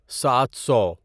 سات سو